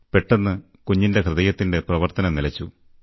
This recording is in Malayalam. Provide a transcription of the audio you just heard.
പെട്ടെന്ന് കുഞ്ഞിന്റെ ഹൃദയത്തിന്റെ പ്രവർത്തനം നിലച്ചു